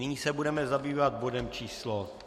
Nyní se budeme zabývat bodem číslo